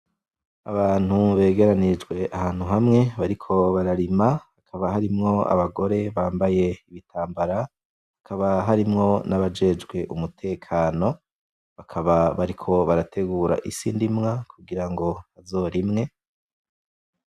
Abantu begeranirijwe ahantu hamwe bariko bararima, hakaba harimwo abagore bambaye ibitambara, hakaba harimwo nabajejwe umutekano, bakaba bariko barategura isi ndimwa kugira ngo bazorime.